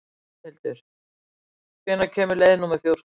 Bjarnhildur, hvenær kemur leið númer fjórtán?